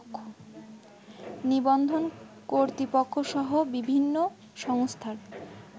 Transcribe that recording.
নিবন্ধন কর্তৃপক্ষসহ বিভিন্ন সংস্থার